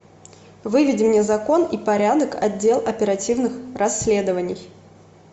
выведи мне закон и порядок отдел оперативных расследований